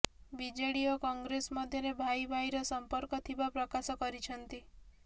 BJD ଓ କଂଗ୍ରେସ ମଧ୍ୟରେ ଭାଇ ଭାଇର ସମ୍ପର୍କ ଥିବା ପ୍ରକାଶ କରିଛନ୍ତି